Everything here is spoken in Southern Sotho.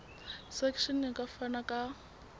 section e ka fana ka